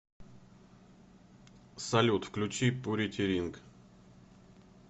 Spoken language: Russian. салют включи пурити ринг